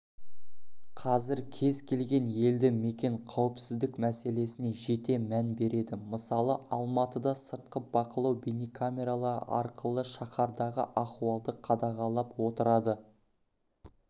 қазір кез келген елді мекен қауіпсіздік мәселесіне жете мән береді мысалы алматыда сыртқы бақылау бейнекамералары арқылы шаһардағы ахуалды қадағалап отырады